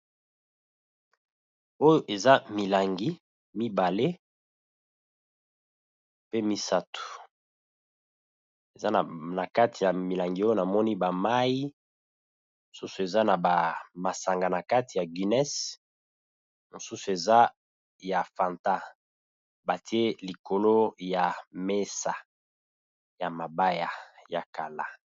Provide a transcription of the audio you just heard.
Oyo eza milangi mibale pe misatu. Na kati ya milangi oyo na moni ba mayi, mususu eza na ba masanga na kati ya guiness, mususu eza ya Fanta, Ba tié likolo ya mesa ya mabaya ya kala .